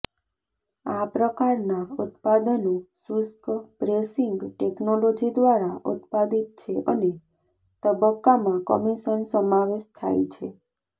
આ પ્રકારના ઉત્પાદનો શુષ્ક પ્રેસિંગ ટેકનોલોજી દ્વારા ઉત્પાદિત છે અનેક તબક્કામાં કમિશન સમાવેશ થાય છે